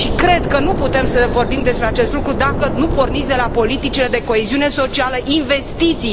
Și cred că nu putem să vorbim despre acest lucru dacă nu porniți de la politicile de coeziune socială, investiții.